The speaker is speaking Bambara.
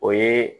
O ye